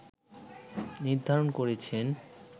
নির্ধারণ করেছেন